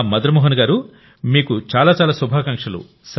మదన్ మోహన్ గారూ మీకు చాలా చాలా శుభాకాంక్షలు